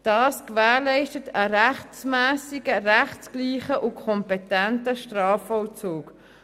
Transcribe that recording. Das gewährleistet einen rechtmässigen, rechtsgleichen und kompetenten Strafvollzug.